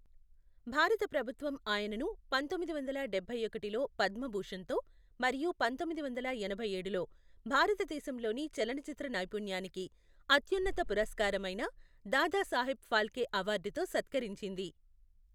భారత ప్రభుత్వం ఆయనను పంతొమ్మిది వందల డబ్బై ఒకటిలో పద్మభూషణ్తో, మరియు పంతొమ్మిది వందల ఎనభై ఏడులో భారతదేశంలోని చలనచిత్ర నైపుణ్యానికి అత్యున్నత పురస్కారమైన దాదాసాహెబ్ ఫాల్కే అవార్డుతో సత్కరించింది.